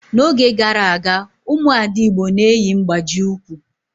N'oge gara aga, ụmụ ada igbo na-eyi mgbaji ụkwụ